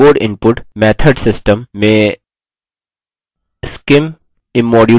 keyboard input method system keyboard input method system में scimimmodule को चुनें